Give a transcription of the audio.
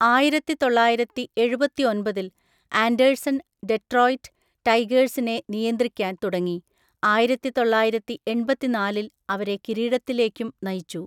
ആയിരത്തിത്തൊള്ളായിരത്തിഎഴുപത്തിഒൻപതിൽ Anderson Detroit ടൈഗേഴ്സിനെ നിയന്ത്രിക്കാൻ തുടങ്ങി, ആയിരത്തിതൊള്ളായിരത്തിഎൺപത്തിനാലിൽ അവരെ കിരീടത്തിലേക്കും നയിച്ചു.